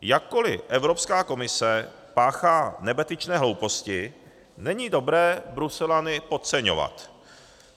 Jakkoli Evropská komise páchá nebetyčné hlouposti, není dobré Bruselany podceňovat.